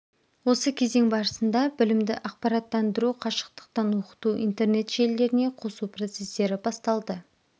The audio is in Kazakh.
осы кезең барысында білімді ақпараттандыру қашықтықтан оқыту интернет желілеріне қосу процестері басталды